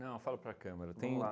Não, eu falo para a câmera.